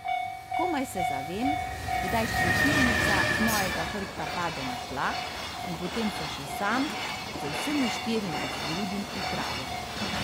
Komaj se zavem, kdaj škropilnica z mojega hrbta pade na tla, in potem se še sam z vsemi štirimi zgrudim v travo.